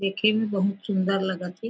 दिखे में बहुत सुन्दर लगत थे।